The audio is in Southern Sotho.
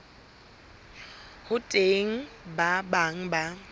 ho teng ba bang ba